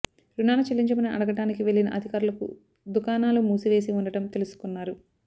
రుణాలు చెల్లించమని అడగటానికి వెళ్లిన అధికారులకు దుకాణాలు మూసివేసి ఉండటం తెలుసుకున్నారు